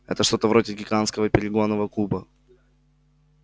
это что-то вроде гигантского перегонного куба